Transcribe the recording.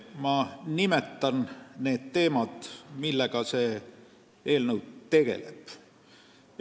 Ma nimetan need teemad, millega see eelnõu tegeleb.